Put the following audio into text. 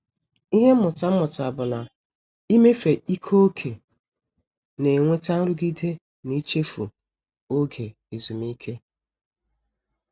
Ịhe mmụta m mụtara bụ na- ịmefe ike ókè na-enweta nrụgide na-ichefu oge ezumike.